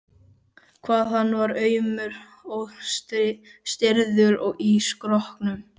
hvað hann var aumur og stirður í skrokknum!